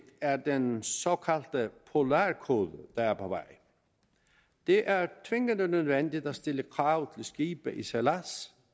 er den såkaldte polarkode der er på vej det er tvingende nødvendigt at stille krav til skibe i sejlads